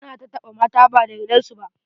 Ana tattaɓa mata ba da yardar su ba.